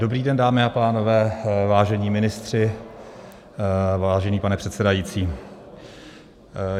Dobrý den, dámy a pánové, vážení ministři, vážený pane předsedající.